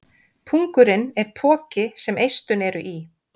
pungurinn er poki sem eistun eru í